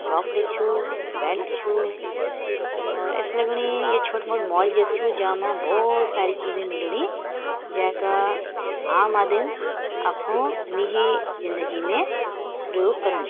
टोप ली छू बेल्ट छू और ऐसी लगणी ये छोटु मोटु मॉल जैसे छू जा मा बहोत सारी चीजें मिलणी जैका आम आदिम अफु निजी जिंदगी में प्रयोग करणी।